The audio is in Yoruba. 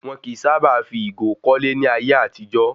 Wọn kìí sábà fi ìgò kọ́lé ní ayé àtijó